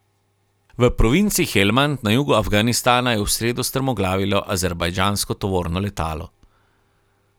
V provinci Helmand na jugu Afganistana je v sredo strmoglavilo azerbajdžansko tovorno letalo.